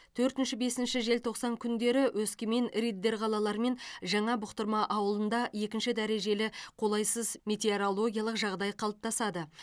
төртінші бесінші желтоқсан күндепі өскемен риддер қалалары мен жаңа бұқтырма ауылында екінші дәрежелі қолайсыз метеорологиялық жағдай қалыптасады